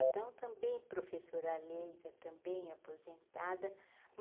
Então também professora leiga, também aposentada.